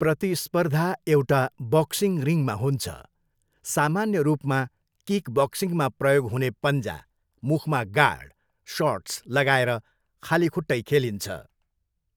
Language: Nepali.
प्रतिस्पर्धा एउटा बक्सिङ रिङमा हुन्छ, सामान्य रूपमा किक बक्सिङमा प्रयोग हुने पन्जा, मुखमा गार्ड, सर्ट्स लगाएर खाली खुट्टै खेलिन्छ।